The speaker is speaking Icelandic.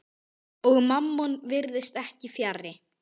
Og Mammon virðist ekki fjarri.